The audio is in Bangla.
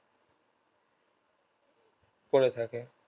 করে থাকে